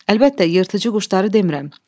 Əlbəttə, yırtıcı quşları demirəm.